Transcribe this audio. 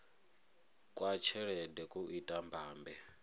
kwa tshelede ku ita mbambe